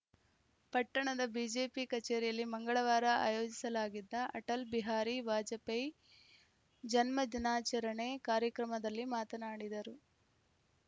ಪಟ್ಟಣದ ಬಿಜೆಪಿ ಕಚೇರಿಯಲ್ಲಿ ಮಂಗಳವಾರ ಆಯೋಜಿಸಲಾಗಿದ್ದ ಅಟಲ್‌ ಬಿಹಾರಿ ವಾಜಪೇಯ ಜನ್ಮ ದಿನಾಚರಣೆ ಕಾರ್ಯಕ್ರಮದಲ್ಲಿ ಮಾತನಾಡಿದರು